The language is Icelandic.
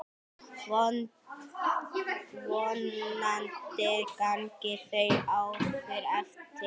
Vonandi ganga þau áform eftir.